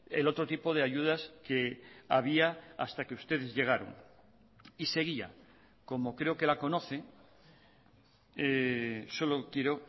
el otro tipo de ayudas que había hasta que ustedes llegaron y seguía como creo que la conoce solo quiero